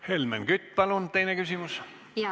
Helmen Kütt, palun teine küsimus!